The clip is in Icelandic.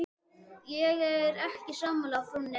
Ég er alls ekki sammála frúnni.